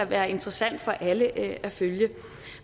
være interessant for alle at følge